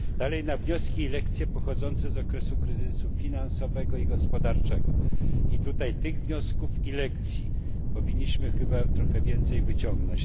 Co do wniosków i lekcji pochodzących z okresu kryzysu finansowego i gospodarczego to myślę, że tutaj tych wniosków i lekcji powinniśmy chyba trochę więcej wyciągnąć.